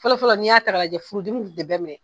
Fɔlɔfɔlɔ n'i y'a ta k'a lajɛ furudimi kun ti bɛɛ minɛ